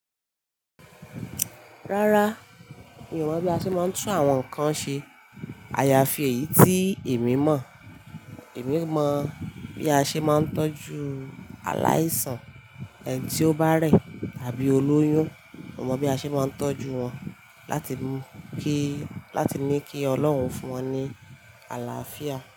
Rárá, mi ò mọ̀ bí a ṣe máa ń tún àwọn nǹkan ṣe. Àyàfi èyí tí èmi mọ̀. Èmi mọ bí a ṣe máa ń tọ́jú aláìsàn, ẹni tí ó bá rẹ̀ tàbí ó lóyún. Mo mọ bí a ṣe máa ń tọ́jú wọn láti kí, láti ní kí Ọlọ́run fún wọn ní àlàáfíà.